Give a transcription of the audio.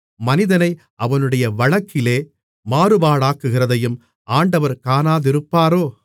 மனிதனை அவனுடைய வழக்கிலே மாறுபாடாக்குகிறதையும் ஆண்டவர் காணாதிருப்பாரோ